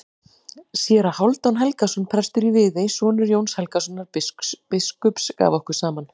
Séra Hálfdan Helgason, prestur í Viðey, sonur Jóns Helgasonar biskups, gaf okkur saman.